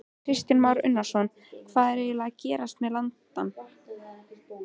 Kristján Már Unnarsson: Hvað er eiginlega að gerast með landann?